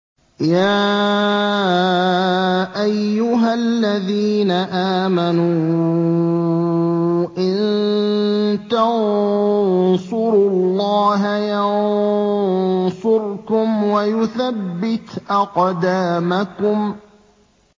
يَا أَيُّهَا الَّذِينَ آمَنُوا إِن تَنصُرُوا اللَّهَ يَنصُرْكُمْ وَيُثَبِّتْ أَقْدَامَكُمْ